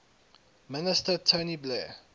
minister tony blair